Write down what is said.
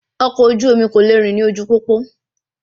Ọkọ̀ oju-omi kò le rìn ní ojú pópó